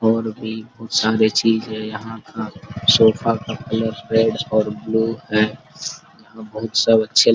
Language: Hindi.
और भी बहुत सारे चीज है यहां वहां सोफा का कलर रेड और ब्लू है और बहुत सब अच्छे--